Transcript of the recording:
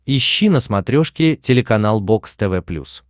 ищи на смотрешке телеканал бокс тв плюс